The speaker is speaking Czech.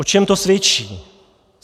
O čem to svědčí?